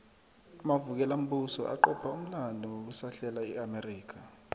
amavukelambuso aqopha umlando ngokusahlesa iamerica